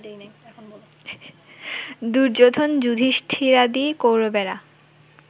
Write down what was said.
দুর্যোধন যুধিষ্ঠিরাদি কৌরবেরা